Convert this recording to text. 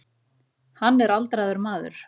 Hann er aldraður maður.